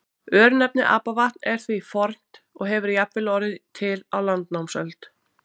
Örnefnið Apavatn er því fornt og hefur jafnvel orðið til á landnámsöld.